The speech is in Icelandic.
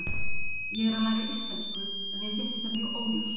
Ég er að læra íslensku en mér finnst þetta mjög óljóst.